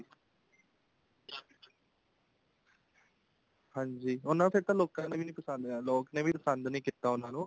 ਹਾਂਜੀ ਉਹਨਾ ਨੇ ਫ਼ੇਰ ਲੋਕਾਂ ਨੇ ਵੀ ਪਸੰਦ ਨੀ ਕੀਤਾ ਉਹ ਲੋਕਾਂ ਨੇ ਵੀ ਪਸੰਦ ਨੀ ਕੀਤਾ ਉਹਨਾ ਨੂੰ